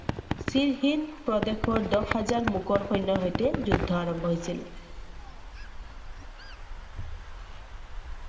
প্ৰদেশৰ দহ হাজাৰ মোগল সন্যৰ হৈতে যুদ্ধ আৰম্ভ হৈছিলে।